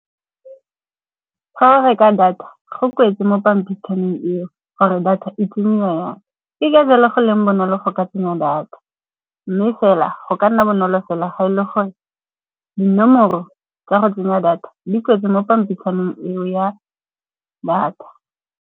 Ga o reka data go kwetswe mo pampitshaneng eo gore data e tsengwa yang. Ke felang go leng bonolo go ka tsenya data, mme fela go ka nna bonolo fela ga e le gore dinomoro tsa go tsenya data di kwetswe mo pampitshaneng eo ya data.